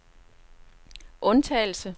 undtagelse